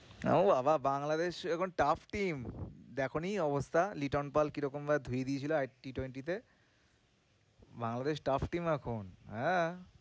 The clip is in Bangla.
ও বাবা বাংলাদেশ এখন tough team দেখোনি অবস্থা? লিটন পাল কিরকম ভাবে ধুয়ে দিয়েছিলো Ttwenty তে বাংলাদেশ tough team এখন, হ্যাঁ।